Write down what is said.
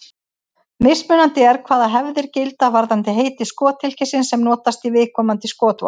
Mismunandi er hvaða hefðir gilda varðandi heiti skothylkisins sem notast í viðkomandi skotvopn.